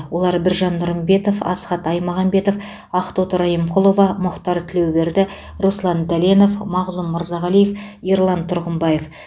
олар біржан нұрымбетов асхат аймағамбетов ақтоты райымқұлова мұхтар тілеуберді руслан дәленов мағзұм мырзағалиев ерлан тұрғымбаев